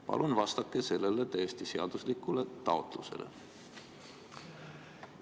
Palun vastake sellele täiesti seaduslikule taotlusele!